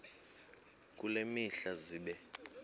kule mihla zibe